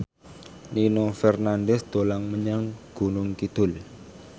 Nino Fernandez dolan menyang Gunung Kidul